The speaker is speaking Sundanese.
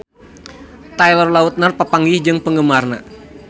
Taylor Lautner papanggih jeung penggemarna